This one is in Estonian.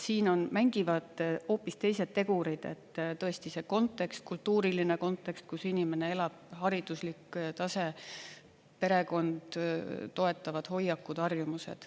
Siin mängivad hoopis teised tegurid: tõesti, see kontekst, kultuuriline kontekst, kus inimene elab, hariduslik tase, perekond, toetavad hoiakud, harjumused.